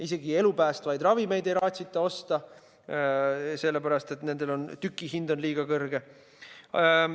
Isegi elusid päästvaid ravimeid ei raatsita osta, sellepärast et nendel on tükihind liiga kõrge.